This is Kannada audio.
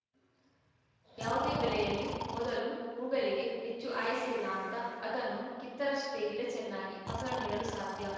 ಯಾವುದೇ ಬೆಲೆಯಲ್ಲಿ ಮೊದಲ ಹೂಗಲಿಗೆ ಹೆಚ್ಚು ಆಯುಸ್ಸಿಲ್ಲ ಅಂತ ಅದನ್ನು ಕಿತ್ತರಷ್ಟೇ ಗಿಡ ಚೆನ್ನಾಗಿ ಫಸಲು ನೀಡಲು ಸಾಧ್ಯ